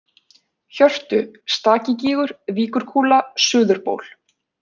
Hjörtu, Stakigígur, Víkurkúla, Suðurból